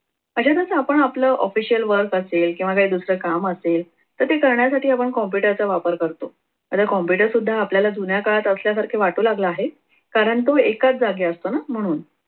असेच असं आपण official work असेल किंवा काही दुसरं काम असेल तर ते करण्यासाठी आपण computer चा वापर करतो आता computer सुद्धा आपल्याला जुन्या काळात असल्यासारखे वाटू लागला आहे. कारण तो एकाच जागी असतो ना म्हणून